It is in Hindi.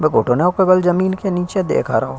घुटनों के बल जमीन के नीचे देख रहो।